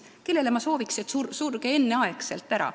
Kellele ma sooviksin, et sure enneaegu ära?